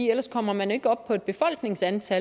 ellers kommer man ikke op på en befolkningsstørrelse